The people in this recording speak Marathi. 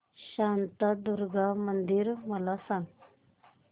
शांतादुर्गा मंदिर मला सांग